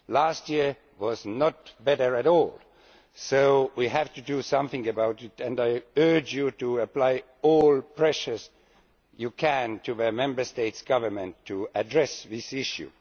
Last year was no better, so we have to do something about that, and I urge you to apply all the pressure you can on the Member States' governments to address this issue.